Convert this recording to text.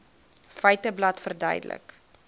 feiteblad verduidelik